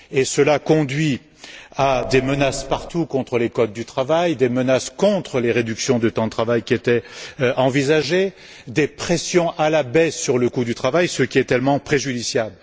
Cela engendre des menaces partout contre les codes du travail, des menaces contre les réductions du temps de travail qui étaient envisagées, des pressions à la baisse sur le coût du travail, ce qui est très préjudiciable.